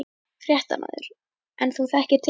Fréttamaður: En þú þekkir til?